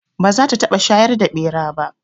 Ba za ta taɓa shayar da ɓera ba